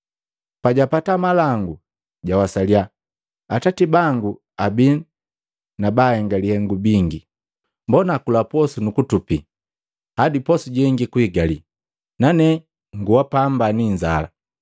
Pajapata malangu jawasalya, ‘Atati bangu abi na baahenga lihengu bingi, mbona akula nu kutupi hadi posu jengi kuigii, nane ngua pamba ni inzala!’